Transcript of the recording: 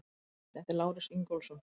Leikmynd eftir Lárus Ingólfsson.